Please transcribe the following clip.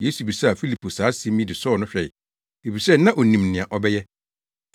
Yesu bisaa Filipo saa asɛm yi de sɔɔ no hwɛe, efisɛ na onim nea ɔbɛyɛ.